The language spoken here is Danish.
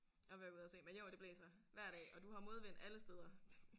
Og være ude og se men jo det blæser hver dag og du har modvind alle steder